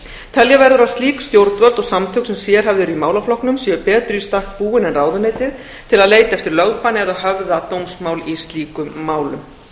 telja verður að slík stjórnvöld og samtök sem sérhæfð eru í málaflokknum séu betur í stakk búin en ráðuneytið til að leita eftir lögbanni eða höfða dómsmál í slíkum málum